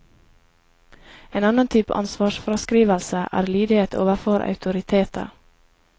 En annen type ansvarsfraskrivelse er lydighet overfor autoriteter.